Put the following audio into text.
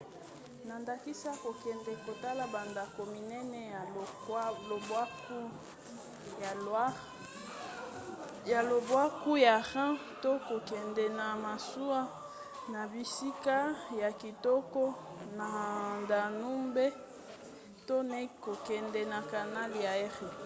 na ndakisa kokende kotala bandako minene ya lobwaku ya loire ya lobwaku ya rhin to kokende na masuwa na bisika ya kitoko na danube to na kokende na canal ya érié